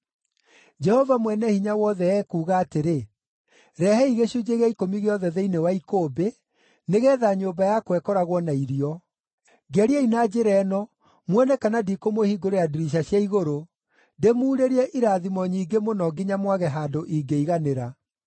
Jehova Mwene-Hinya-Wothe ekuuga atĩrĩ, rehei gĩcunjĩ gĩa ikũmi gĩothe thĩinĩ wa ikũmbĩ, nĩgeetha nyũmba yakwa ĩkoragwo na irio. Ngeriai na njĩra ĩno muone kana ndikũmũhingũrĩra ndirica cia igũrũ, ndĩmuurĩrie irathimo nyingĩ mũno nginya mwage handũ ingĩiganĩra.